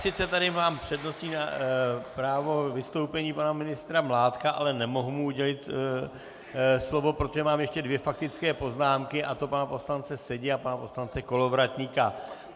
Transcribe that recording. Sice tady mám přednostní právo vystoupení pana ministra Mládka, ale nemohu mu udělit slovo, protože mám ještě dvě faktické poznámky, a to pana poslance Sedi a pana poslance Kolovratníka.